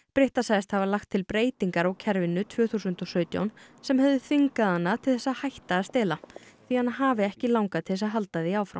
sagðist að hafa lagt til breytingar á kerfinu tvö þúsund og sautján sem hefðu þvingað hana til þess að hætt að stela því hana hafi ekki langað til þess að halda því áfram